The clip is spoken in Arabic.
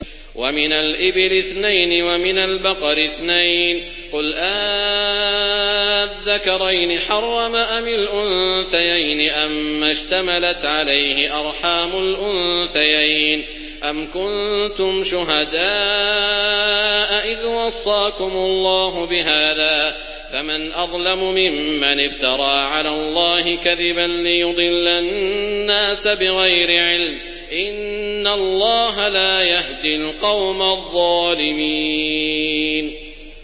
وَمِنَ الْإِبِلِ اثْنَيْنِ وَمِنَ الْبَقَرِ اثْنَيْنِ ۗ قُلْ آلذَّكَرَيْنِ حَرَّمَ أَمِ الْأُنثَيَيْنِ أَمَّا اشْتَمَلَتْ عَلَيْهِ أَرْحَامُ الْأُنثَيَيْنِ ۖ أَمْ كُنتُمْ شُهَدَاءَ إِذْ وَصَّاكُمُ اللَّهُ بِهَٰذَا ۚ فَمَنْ أَظْلَمُ مِمَّنِ افْتَرَىٰ عَلَى اللَّهِ كَذِبًا لِّيُضِلَّ النَّاسَ بِغَيْرِ عِلْمٍ ۗ إِنَّ اللَّهَ لَا يَهْدِي الْقَوْمَ الظَّالِمِينَ